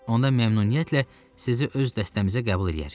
Onda məmnuniyyətlə sizi öz dəstəmizə qəbul eləyərik.